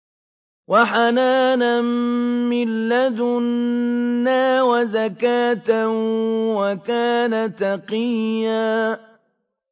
وَحَنَانًا مِّن لَّدُنَّا وَزَكَاةً ۖ وَكَانَ تَقِيًّا